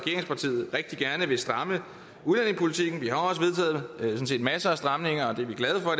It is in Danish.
rigtig gerne vil stramme udlændingepolitikken vi har også vedtaget masser af stramninger og det er vi glade for